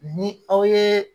Ni aw ye